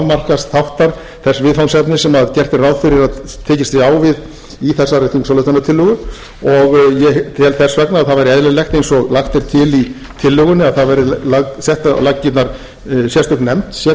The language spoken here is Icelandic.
afmarkaðs þáttar þess viðfangsefnis sem gert er ráð fyrir að tekist sé á við í þessari þingsályktunartillögu ég tel þess vegna að það væri eðlilegt eins og lagt er til í tillögunni að það verði sett á laggirnar sérstök nefnd sérfróðra manna sem